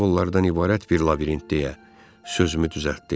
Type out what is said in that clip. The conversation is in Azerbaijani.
Simvollardan ibarət bir labirint, deyə sözümü düzəltdi.